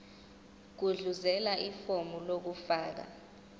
gudluzela ifomu lokufaka